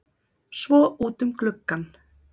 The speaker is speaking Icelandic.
Svo útum gluggann.